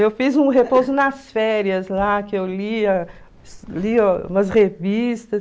Eu fiz um repouso nas férias lá, que eu lia lia umas revistas.